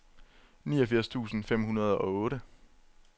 niogfirs tusind fem hundrede og otte